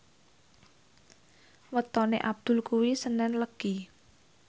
wetone Abdul kuwi senen Legi